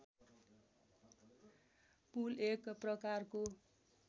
पुल एक प्रकारको